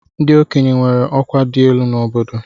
Ndị okenye nwere ọkwa dị elu n'obodo.